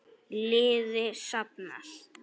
Liði safnað.